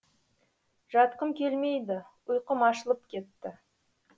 жатқым келмейді ұйқым ашылып кетті